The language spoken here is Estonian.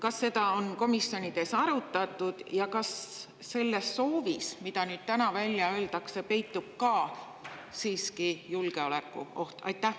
Kas seda on komisjonis arutatud ja kas selles soovis, mida nüüd välja öeldakse, peitub siiski ka julgeolekuoht?